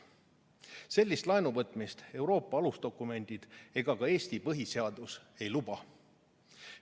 Sellist laenuvõtmist Euroopa alusdokumendid ega ka Eesti põhiseadus ei luba.